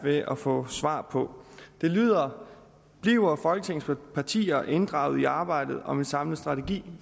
ved at få svar på det lyder bliver folketingets partier inddraget i arbejdet om en samlet strategi